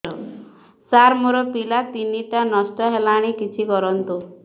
ସାର ମୋର ପିଲା ତିନିଟା ନଷ୍ଟ ହେଲାଣି କିଛି କରନ୍ତୁ